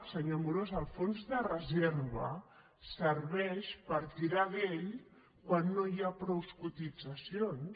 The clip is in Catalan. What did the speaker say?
senyor amorós el fons de reserva serveix per tirar d’ell quan no hi ha prou cotitzacions